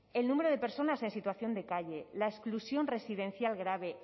el número de personas en situación de calle la exclusión residencial grave